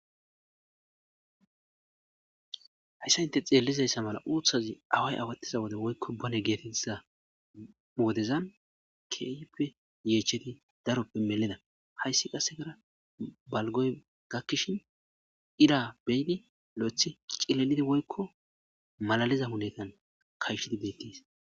hayssa inte xeellizayssa mala uuthazi away awattiza wode woykko bone geetetiza wodezan keeype yeecheti daroppe meleda hayssi qasse gara balgoy gakkishin ira beyidi lo7ethi cilelidi woykko malaliza huletan kayshidi beettis